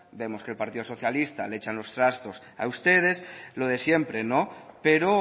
vemos que el partido socialista le echa los trastos a ustedes lo de siempre no pero